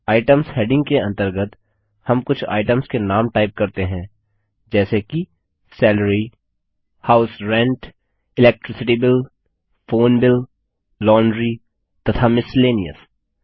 ITEMS heading के अंतर्गत हम कुछ आइटम्स के नाम टाइप करते हैं जैसे कि salary house rent electricity bill phone bill laundry तथा मिसेलेनियस